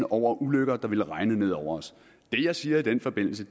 over ulykker der ville regne ned over os det jeg siger i den forbindelse